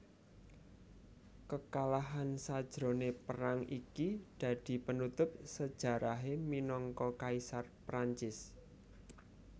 Kekalahan sajroné perang iki dadi penutup sejarahé minangka Kaisar Prancis